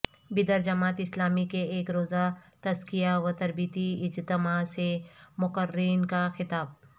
بیدر جماعت اسلامی کے ایک روزہ تزکیہ و تربیتی اجتماع سے مقررین کا خطاب